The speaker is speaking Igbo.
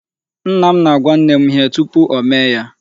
Nna m na-agwa nne m ihe tupu ọ mee ya.